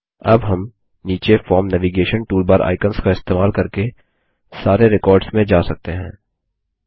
अब हम नीचे फॉर्म नैविगेशन टूलबार आइकंस का इस्तेमाल करके सारे रेकॉर्ड्स में जा सकते हैं